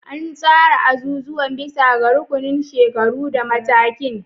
An tsara azuzuwan bisa ga rukunin shekaru da matakin.